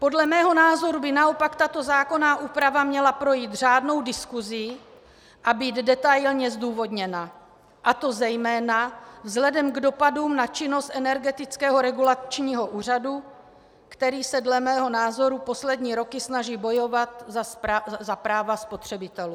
Podle mého názoru by naopak tato zákonná úprava měla projít řádnou diskusí a být detailně zdůvodněna, a to zejména vzhledem k dopadům na činnost Energetického regulačního úřadu, který se dle mého názoru poslední roky snaží bojovat za práva spotřebitelů.